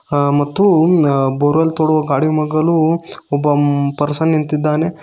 ಆ ಮತ್ತು ಅ ಬೋರ್ವೆಲ್ ನೋಡುವ ಗಾಡಿ ಮಗಲು ಒಬ್ಬ ಪರ್ಸನ್ ನಿಂತಿದ್ದಾನೆ.